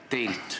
Teilt.